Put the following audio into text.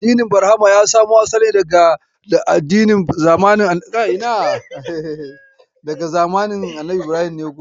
Addinin Barhama ya samo asali ne daga zamanin Annabi Ibrahim.